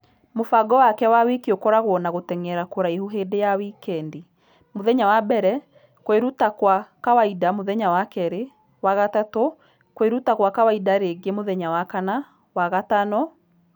Mũbango wake wa wiki ũkoragwo na gũtengera kũraihu hĩndĩ ya wikendi , ....mũthenya wa mbere , kwĩrutakwakawaida mũthenya wa kerĩ ,....wa gatatũ , kwĩrutakwakawaida rĩngĩ mũthenya wa kana .....wa gatano.